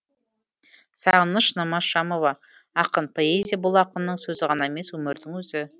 сағыныш намазшамова ақын поэзия бұл ақынның сөзі ғана емес өмірдің өзі